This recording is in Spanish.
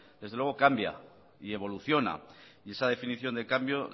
desde luego cambia y evoluciona y esa definición de cambio